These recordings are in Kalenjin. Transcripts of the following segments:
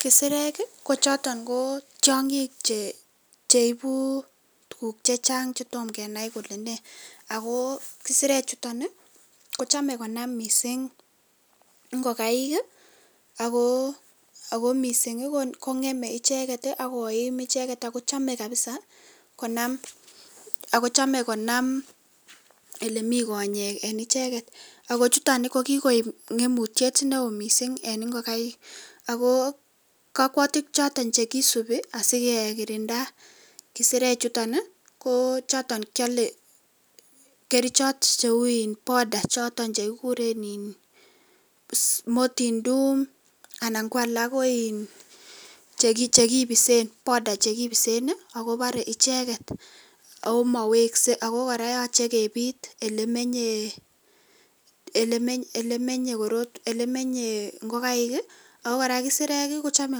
kisereek ko choton tyongiik che ibuu tuguk chechang che tomgenai kole nee agoo kesreek chuton kochome konai missing ngogaik ago mising kongeme icheget agoim icheget ago chome kabiza konam olemii gonyeek en icheget ago chuton ko gigoek ngemutyet neoo kot mising en ingogaik agoo kokwoutik choton chegisubii asigee kirinda kesereek chuton ko choton kyole kerichot cheuu in powder choton chegigureen iin moortin doom anan ko alaak ko iin powder chegibisen ago boree icheget ago moweske ago koraa koyoche kebiit elemenye ngogaik ago koraa kesereek kochome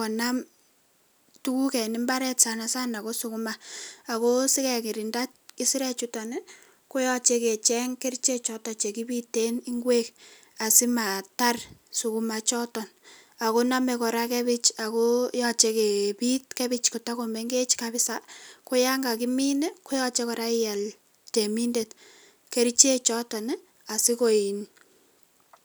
konam tugug en imbaar sanasana goo suguma ago sigegirinda kisereek chuton koyoche icheng kerichek choton chegibiten ngweek asimataar suguma ichoton ago nome koraa gebbich ago yoche kebiit gebbich kotogomengech kabiza , ko yan gagimin koyoche koraa iial keminde kerichek choton iih osigo iin um